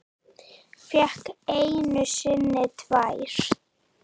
Fékk einu sinni tvær.